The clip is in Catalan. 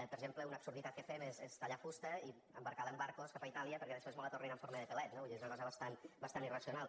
per exemple una absurditat que fem és tallar fusta i embarcar la en barcos cap a itàlia perquè després mos la tornin en forma de pèl·let no vull dir és una cosa bastant bastant irracional